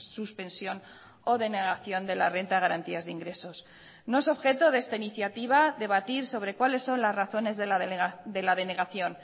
suspensión o denegación de la renta de garantías de ingresos no es objeto de esta iniciativa debatir sobre cuáles son las razones de la denegación